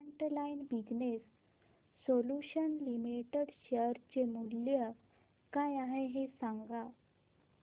frontline Business Solutions Limited share चे मूल्य काय आहे हे सांगा